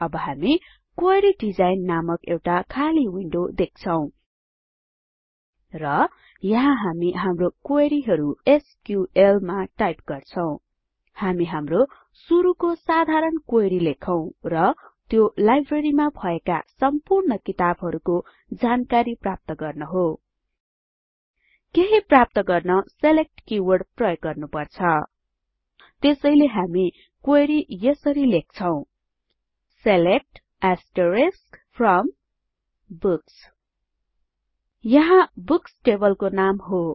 अब हामी query design नामक एउटा खाली विन्डो देख्छौं र यहाँ हामी हाम्रो क्वेरीहरु एसक्यूएल मा टाइप गर्छौं हामी हाम्रो सुरुको साधारण क्वेरी लेखौं र त्यो लाइब्रेरीमा भएका सम्पूर्ण किताबहरुको जानकरी प्राप्त गर्न हो केहि प्राप्त गर्न सिलेक्ट किवर्ड प्रयोग गर्नुपर्छ र त्यसैले हामी क्वेरी यसरी लेख्छौं सिलेक्ट फ्रोम बुक्स यहाँ बुक्स टेबलको नाम हो